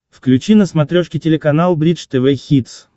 включи на смотрешке телеканал бридж тв хитс